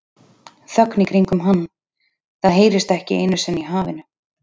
Þögn í kringum hann, það heyrist ekki einu sinni í hafinu.